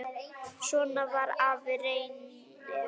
Svona var afi Reynir.